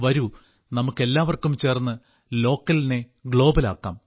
വരൂ നമുക്കെല്ലാം ചേർന്ന് ലോക്കലിനെ ഗ്ലോബൽ ആക്കാം